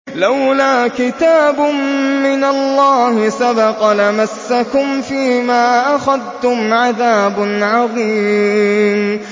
لَّوْلَا كِتَابٌ مِّنَ اللَّهِ سَبَقَ لَمَسَّكُمْ فِيمَا أَخَذْتُمْ عَذَابٌ عَظِيمٌ